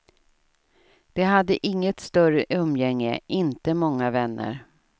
De hade inget större umgänge, inte många vänner.